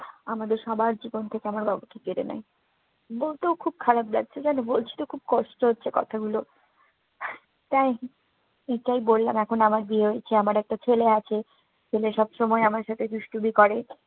আমাদের সবার জীবন থেকে আমার বাবা চলে গেলেন। বলতেও খুব খারাপ লাগছে, জানো বলতে খুব কষ্ট হচ্ছে কথাগুলো। তাই এটাই বললাম, এখন আমার বিয়ে হয়েছে, আমার একটা ছেলে আছে। ছেলে সবসময় আমার সাথে দুষ্টুমি করে।